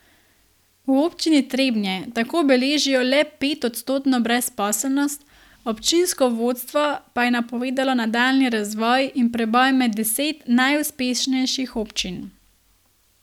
V Občini Trebnje tako beležijo le petodstotno brezposelnost, občinsko vodstvo pa je napovedalo nadaljnji razvoj in preboj med deset najuspešnejših občin.